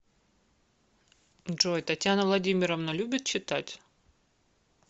джой татьяна владимировна любит читать